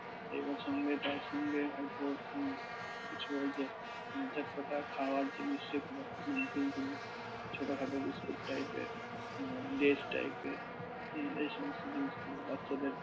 এবার সঙ্গে, তার সঙ্গে হয়তো কিছুই ওই যে চটপটা খাবার জিনিস যেগুলো ছোটখাটো বিস্কুট type এর লেস type এর এই সমস্ত জিনিসগুলো বাচ্চাদের